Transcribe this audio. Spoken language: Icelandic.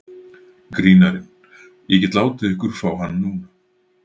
Grínarinn: Ég get látið ykkur fá hann núna.